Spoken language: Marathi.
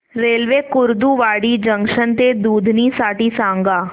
रेल्वे कुर्डुवाडी जंक्शन ते दुधनी साठी सांगा